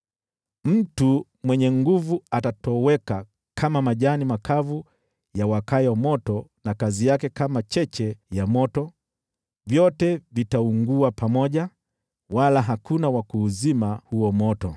Mtu mwenye nguvu atatoweka kama majani makavu yawakayo moto, na kazi yake kama cheche ya moto; vyote vitaungua pamoja, wala hakuna wa kuuzima huo moto.”